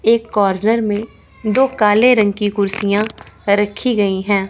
एक कॉर्नर में दो काले रंग की कुर्सियां रखी गई है।